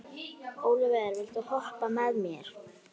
Ólíver, viltu hoppa með mér?